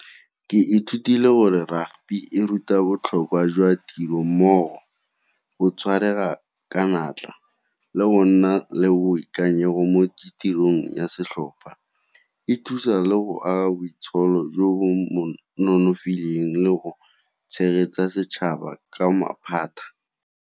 Ke ithutile gore rugby e ruta botlhokwa jwa tiro mmogo, go tshwaetsega ka natla, le go nna le boikanyego mo di tirong ya setlhopha. E thusa le go aga boitsholo jo bo nonofileng le go tshegetsa setšhaba ka maphata.